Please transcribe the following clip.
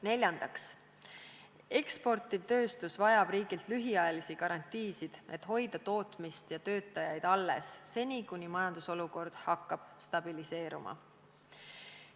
Neljandaks, eksportiv tööstus vajab riigilt lühiajalisi garantiisid, et hoida tootmist ja töötajaid alles seni, kuni majandusolukord hakkab stabiliseeruma.